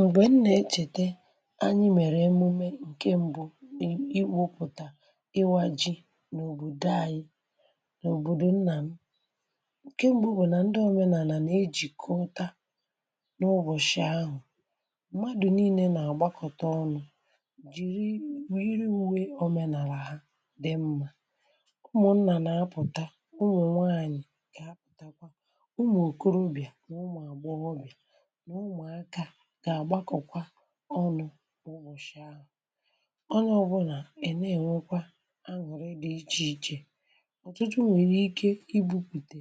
Mgbe m nà-echète anyi mèrè emume ǹke m̀bụ ịwụ̇pụ̀tà ịwȧji n’òbòdo anyi n’òbòdò nnà m ,ǹke m̀bụ bụ nà ndị òmenàlà nà-ejìkọta n’ụbọ̀chị̀a ahụ̀, m̀madụ̀ niile nà-àgbakọta ọnụ̇ jìri yiri̇ uwe òmenàlà ha dị mmȧ. Umụ̀ nnà nà-apụ̀ta, ụmụ̀ nwanyị̀ ga-aputakwa, ụmụ̀ òkorobịà na ụmụ agbọghọbịa na ụmụaka gà-àgbakọ̀kwa ọnụ̇ ụbọ̀chị̀ ahụ̀, ọnye ọ̀bụnà ana-enwẹ̀kwa aṅụrị dị ichè ichè. Ọtụtụ nwèrè ike ibupùtè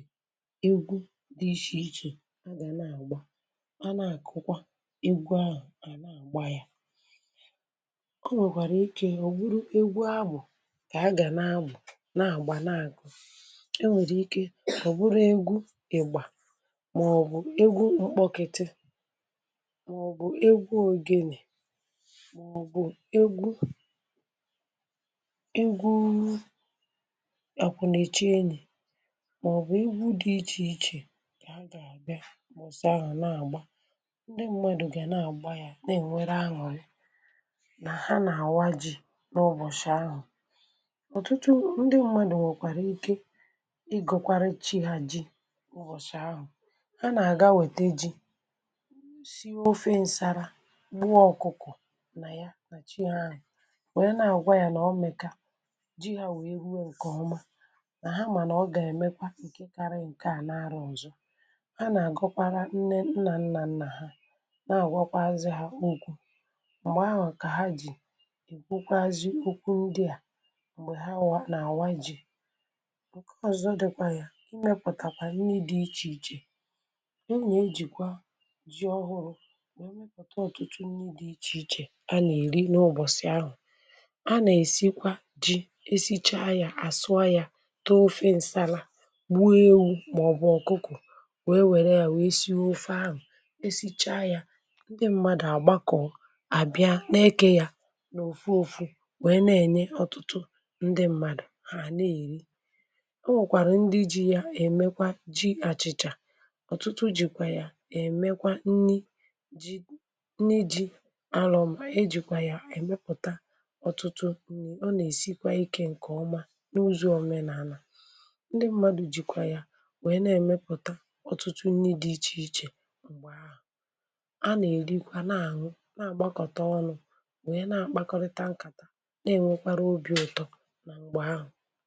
egwu dị iche ichè a gà nà-àgba, a na-àkụkwa egwu ahụ̀, a gba yȧ. Onwèkwàrà ike ọ̀ bụrụ egwu abụ̀ kà a gà na-àbụ̀, na-àgba na-àkụ, e nwèrè ike ọ̀ bụrụ egwu ị̀gbà màọbụ̀ egwu mkpọkịtị màọ̀bụ̀ egwu ogènè màọ̀bụ̀ egwu egwu àkwù nà-èchi enyì màọ̀bụ̀ egwu dị̇ ichè ichè kà ha gà-àbịa mbosị ahụ̀ na-àgba, ndị mmadụ̀ gà-àna-àgba ya na-ènwere aṅụrị nà ha nà-àwa ji̇ n’ụbọ̀sị̀ ahụ̀. Ọtụtụ ndị mmadụ̀ nwèkwàrà ike ịgọ̀kwara chi hȧ ji ụbọchị ahụ̀, ha nà-àga wète ji, sie ofe nsala, gbuo ọkụkụ nà ya nà chi ahụ̀ wèe na-àgwa yȧ nà ọ mèkà ji hȧ wèe ruo ǹkè ọma nà ha mànà ọ gà-èmekwa ǹke karị ǹke à na-arụ ụ̀zọ, ha nà-àgọkwara nne nnà nnà nnà ha na-àgwakwazi ha okwù m̀gbè ahụ̀ kà ha jì èkwukwazi okwụ ndị à m̀gbè ha wàa nà-àwa ji. Nkè ọzọ dịkwa yȧ, mepụ̀tàkwa nni dị̇ ichè ichè. Ana-ejìkwà ji ọhụrụ wee mmepụta ọ̀tụtụ nni di ichè ichè a nà-èri n’ụbọ̀sị̀ ahụ̀, a nà-èsikwa ji esichaa ya àsụọ ya, tee ofe ǹsala, gbuo ewụ màọbụ̀ ọkụkọ wee wère ya wee sie ofe ahụ̀, esichaa ya ndị mmadụ̀ àgbakọ̀ àbịa n’ekė ya n’ofụ ọfụ wèe na-ènye ọ̀tụtụ ndị ṁmȧdụ̀ ha na-èri, o nwèkwàrà ndị ji ya èmekwa ji àchịchà ọ̀tụtụ jìkwà ya emekwa nni ji nni jì alọm eji̇kwà yà èmepùta ọ̀tụtụ ọ nà-èsikwa ikė ǹkè ọma n’ụzọ òmenàlà, ndị mmadù jìkwà ya wèe na-èmepùta ọtụtụ nni dị ichè ichè mgbe ahụ, a nà-èrikwa na àṅụ na-àgbakọta ọnụ̇ wèe na-àkpakọrịta nkàta na-ènwekwara obi̇ ụ̀tọ na mgbe ahụ.